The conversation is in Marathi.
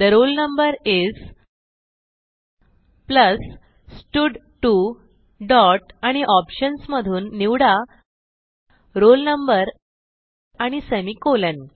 the roll number is plus स्टड2 डॉट आणि ऑप्शन्स मधून निवडा roll no आणि सेमिकोलॉन